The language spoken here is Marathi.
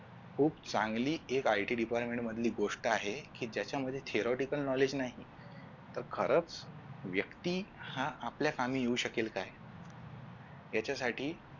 खुप चांगली एक IT DEPARTMENT मधली गोष्ट आहे कि ज्याच्यामध्ये THEROTICAL knowledge नाही तर खरच व्यक्ती हा आपल्या कामी येऊ शकेल काय याच्यासाठी